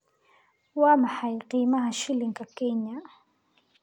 Waa maxay qiimaha shilinka Kenya?